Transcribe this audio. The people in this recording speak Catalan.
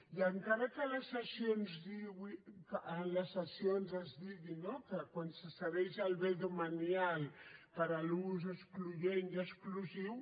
i encara que en les cessions es digui no que quan se cedeix el bé demanial per a l’ús excloent i exclusiu